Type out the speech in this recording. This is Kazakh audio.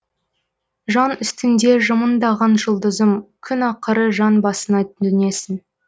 жан үстінде жымыңдаған жұлдызым күн ақыры жан басына төнесің